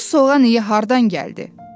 Bu soğan iyi hardan gəldi?